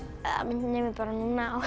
minnir mig bara núna á